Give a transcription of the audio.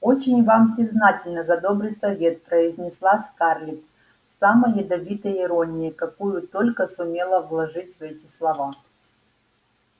очень вам признательна за добрый совет произнесла скарлетт с самой ядовитой иронией какую только сумела вложить в эти слова